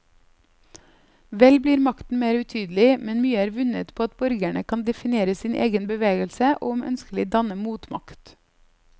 Vel blir makten mer utydelig, men mye er vunnet på at borgerne kan definere sin egen bevegelse og om ønskelig danne motmakt.